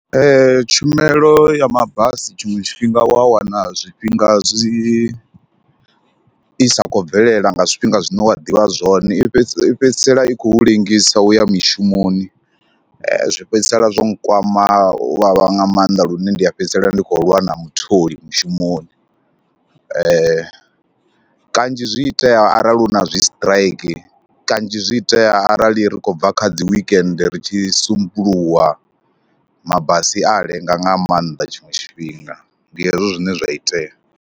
Tshumelo ya mabasi tshiṅwe tshifhinga wa wana zwifhinga zwi, i sa khou bvelela nga zwifhinga zwine wa ḓivha zwone i fhedzi, i fhedzisela i khou lengisa u ya mishumoni zwi fhedzisela zwo nkwama u vhavha nga maanḓa lune ndi a fhedzisela ndi khou lwa na mutholi mushumoni. Kanzhi zwi itea arali hu na zwisiṱiraiki, kanzhi zwi itea arali ri khou bva kha dzi weekend ri tshi sumbuluwa, mabasi a ya lenga nga maanḓa tshiṅwe tshifhinga. Ndi hezwo zwine zwa itea.